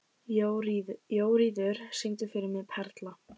Jóríður, syngdu fyrir mig „Perla“.